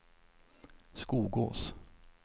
Skogås